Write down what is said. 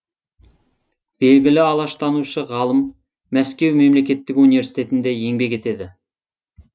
белгілі алаштанушы ғалым мәскеу мемлекеттік университінде еңбек етеді